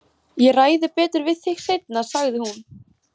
Ég ræði betur við þig seinna, sagði hún.